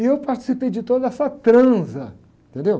E eu participei de toda essa transa, entendeu?